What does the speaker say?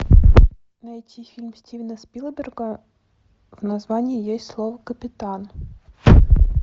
найти фильм стивена спилберга в названии есть слово капитан